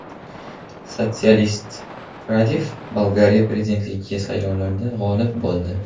Sotsialist Radev Bolgariya prezidentligiga saylovlarda g‘olib bo‘ldi.